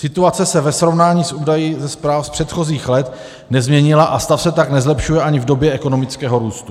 Situace se ve srovnání s údaji ze zpráv z předchozích let nezměnila a stav se tak nezlepšuje ani v době ekonomického růstu.